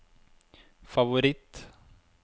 favoritt